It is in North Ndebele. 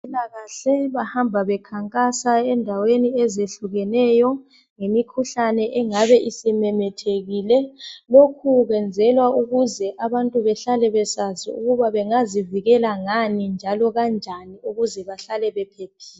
Abezempilakahle bahamba bekhankasa endaweni ezehlukeneyo ngemikhuhlane engabe isimemethekile .Lokhu kwenzelwa ukuze abantu behlale besazi ukuba bengazivikela ngani njalo kanjani ukuze bahlale bephephile .